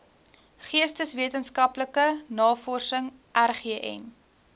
geesteswetenskaplike navorsing rgn